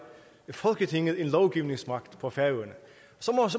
folketinget en lovgivningsmagt på færøerne så